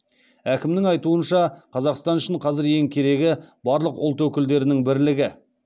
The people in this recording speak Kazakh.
әкімнің айтуынша қазақстан үшін қазір ең керегі барлық ұлт өкілдерінің бірлігі